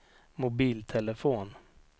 mobiltelefon